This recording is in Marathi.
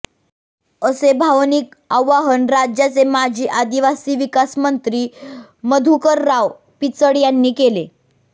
असे भावनिक आवाहन राज्याचे माजी आदिवासी विकास मंत्री मधुकरराव पिचड यांनी केले